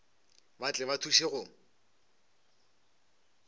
ba tle ba thuše go